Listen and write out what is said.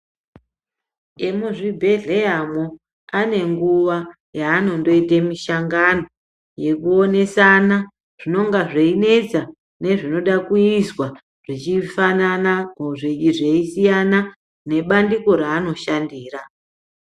Emuzvibhedhleramwo anenguwa yeanondoite mishangano yekuonesana zvinongaazveinetsa nezvinoda kuizwa zvechifanana ozveisiyana nebandiko reanoshandira.